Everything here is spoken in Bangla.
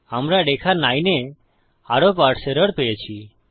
আমরা রেখা 9 এ আরো পারসে এরর পেয়েছি